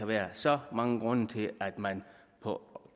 være så mange grunde til at man på